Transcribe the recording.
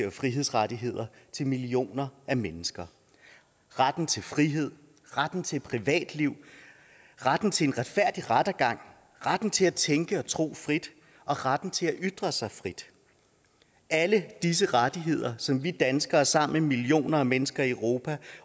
og frihedsrettigheder til millioner af mennesker retten til frihed retten til privatliv retten til en retfærdig rettergang retten til at tænke og tro frit og retten til at ytre sig frit alle disse rettigheder som vi danskere sammen med millioner af mennesker i europa